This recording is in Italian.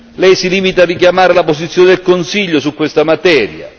Lei si limita a richiamare la posizione del Consiglio su questa materia.